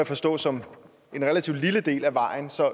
forstå som en relativt lille del af vejen så